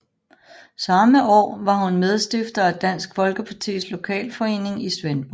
Samme år var hun medstifter af Dansk Folkepartis lokalforening i Svendborg